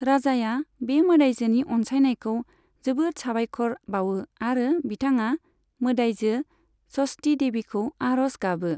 राजाया बे मोदायजोनि अनसायनायखौ जोबोद साबायखर बावो आरो बिथाङा मोदायजो षष्ठी देबीखौ आर'ज गाबो।